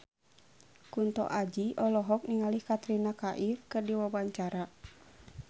Kunto Aji olohok ningali Katrina Kaif keur diwawancara